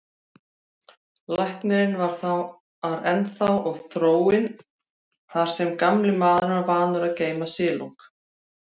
Lækurinn var þar ennþá og þróin, þar sem gamli maðurinn var vanur að geyma silung.